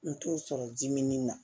N t'o sɔrɔ dimin na